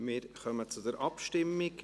Wir kommen zur Abstimmung.